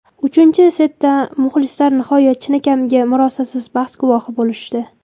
Uchinchi setda muxlislar nihoyat chinakamiga murosasiz bahs guvohi bo‘lishdi.